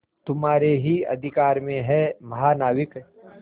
तुम्हारे ही अधिकार में है महानाविक